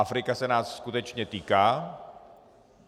Afrika se nás skutečně týká.